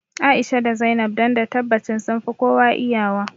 A'isha da Zainab don da tabbacin sunfi kowa iya wa